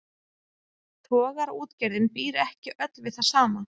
Togaraútgerðin býr ekki öll við það sama.